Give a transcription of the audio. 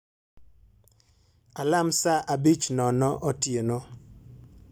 alam saa 5:00 otieno